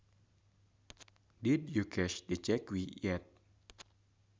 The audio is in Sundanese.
Did you cash the cheque yet